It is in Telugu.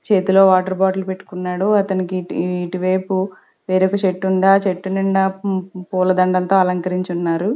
చేతిలో వాటర్ బాటిల్ పెట్టుకున్నాడు అతనికి ఇటువైపు వేరొక చెట్టు ఉంది ఆ చెట్టు నిండ పూల దండలతో అలంకరించి ఉన్నారు.